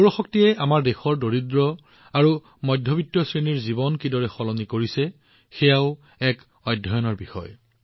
সৌৰ শক্তিয়ে আমাৰ দেশৰ দৰিদ্ৰ আৰু মধ্যবিত্ত শ্ৰেণীৰ জীৱন কেনেদৰে সলনি কৰি আছে সেয়াও অধ্যয়নৰ বিষয়